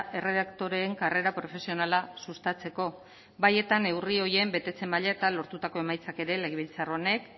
erredaktoreen karrera profesionala sustatzeko bai eta neurri horien betetze maila eta lortutako emaitzak ere legebiltzar honek